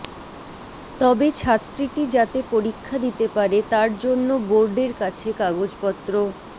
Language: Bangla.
তবে ছাত্রীটি যাতে পরীক্ষা দিতে পারে তার জন্য বোর্ডের কাছে কাগজপত্র